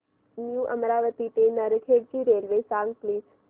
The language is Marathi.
न्यू अमरावती ते नरखेड ची रेल्वे सांग प्लीज